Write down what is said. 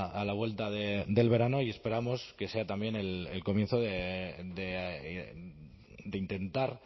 a la vuelta del verano y esperamos que sea también el comienzo de intentar